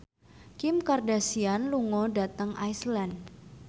Kim Kardashian lunga dhateng Iceland